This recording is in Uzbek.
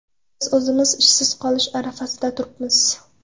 Biz o‘zimiz ishsiz qolish arafasida turibmiz.